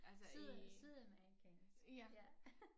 Syd sydamerikansk ja